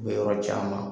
U bɛ yɔrɔ caman